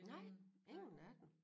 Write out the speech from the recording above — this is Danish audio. Nej ingen af dem